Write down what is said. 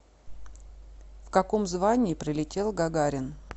в каком звании прилетел гагарин